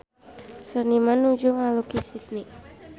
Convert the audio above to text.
Seniman nuju ngalukis Sydney